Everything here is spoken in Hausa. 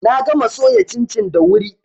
Na gama soya cincin da wuri.